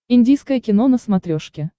индийское кино на смотрешке